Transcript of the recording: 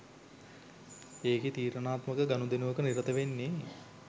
ඒකෙ තීරණාත්මක ගනුදෙනුවක නිරත වෙන්නෙ